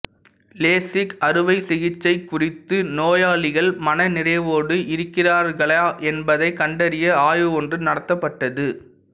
LASIK அறுவை சிகிச்சை குறித்து நோயாளிகள் மன நிறைவோடு இருக்கிறார்களா என்பதைக் கண்டறிய ஆய்வு ஒன்று நடத்தப்பட்டது